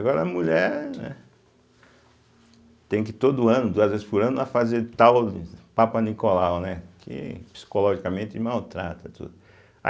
Agora a mulher tem que todo ano, duas vezes por ano, fazer tal papanicolau, né, que psicologicamente maltrata tudo. a